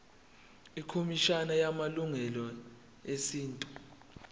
ikhomishana yamalungelo esintu